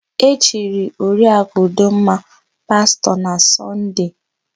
E chiri Oriakụ Udoma pastọ na Sọnde.